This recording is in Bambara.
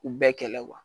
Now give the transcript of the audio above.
U bɛɛ kɛlɛ kuwa